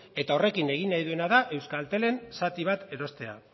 eta horrekin egin nahi duena da euskaltelen zati bat erostea